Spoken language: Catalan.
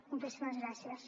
moltíssimes gràcies